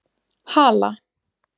Hala